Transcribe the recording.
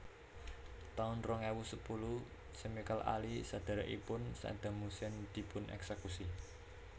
taun rong ewu sepuluh Chemical Ali sedhèrèkipun Saddam Hussein dipun èksèkusi